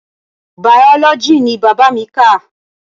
Biology ni bàbá mi kà.